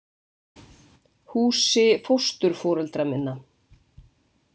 Húsi fósturforeldra minna.